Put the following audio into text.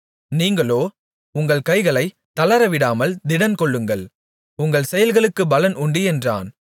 நீங்களோ உங்கள் கைகளைத் தளரவிடாமல் திடன்கொள்ளுங்கள் உங்கள் செயல்களுக்குப் பலன் உண்டு என்றான்